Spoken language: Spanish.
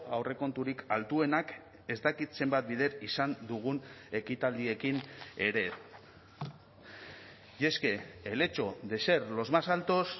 aurrekonturik altuenak ez dakit zenbat bider izan dugun ekitaldiekin ere y es que el hecho de ser los más altos